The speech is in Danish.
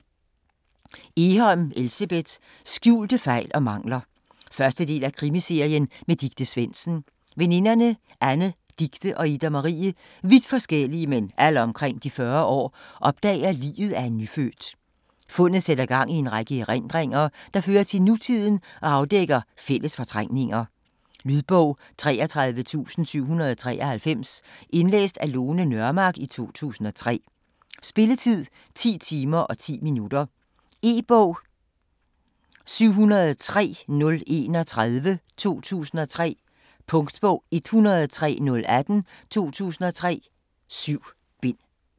Egholm, Elsebeth: Skjulte fejl og mangler 1. del af Krimiserien med Dicte Svendsen. Veninderne Anne, Dicte og Ida Marie - vidt forskellige, men alle omkring de 40 år - opdager liget af en nyfødt. Fundet sætter gang i en række erindringer, der fører til nutiden og afdækker fælles fortrængninger. Lydbog 33793 Indlæst af Lone Nørmark, 2003. Spilletid: 10 timer, 10 minutter. E-bog 703031 2003. Punktbog 103018 2003. 7 bind.